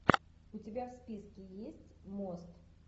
у тебя в списке есть мост